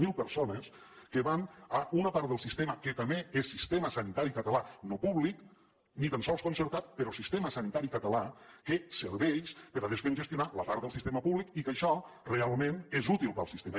zero persones que van a una part del sistema que també és sistema sanitari català no públic ni tan sols concertat però sistema sanitari català que serveix per a descongestionar la part del sistema públic i que això realment és útil per al sistema